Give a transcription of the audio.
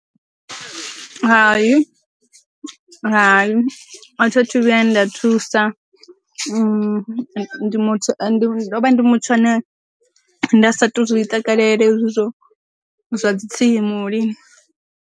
Hayi hayi a thathu vhuya nda thusa, ndi muthu ane ndo vha ndi muthu ane nda sa tu zwi takalela hezwi zwo zwa dzi tsimu lini.